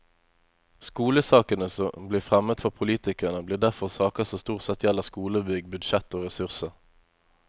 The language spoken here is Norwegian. Skolesakene som blir fremmet for politikerne, blir derfor saker som stort sett gjelder skolebygg, budsjett og ressurser.